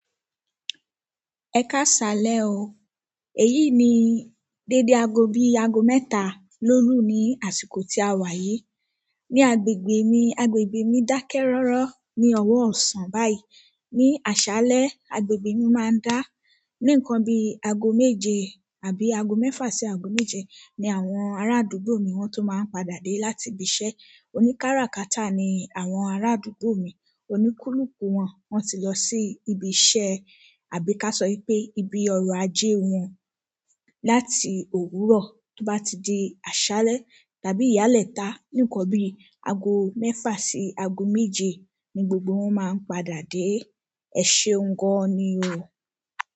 Ẹ káṣàlẹ̀ o. Èyí ni dédé aago bí i aago mẹ́tà ló lù ní àsìkò tí a wà yìí. Ni agbègbè mi, agbègbè mi dakẹ rọrọ ní ọwọ ọsán báyìí ni àṣálẹ́, agbègbè mi máa ń dá. Ni nkan bí àgó méje àbí ago mẹfa sí ago méje ní àwọn ará àdúgbò mí wọn to máa n padà de láti ibiṣẹ́ oníkáràkátà ni àwọn arádúgbò mi. Oníkúlùkù wọ́n, wọ́n ti lọ sí ibi iṣẹ́. Àbí ká sọ pé ibi ọrọ̀ ajé wọn. Láti òwúrọ̀ tó bá ti di àṣálẹ́ tàbí ìyàlẹ́ta, nìkan bí i aago mẹ́fà sí aago méje ni gbogbo wọn máa ń padà dé. Ẹ ṣe un gan ni o.